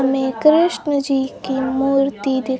में कृष्ण जी की मूर्ति दिख--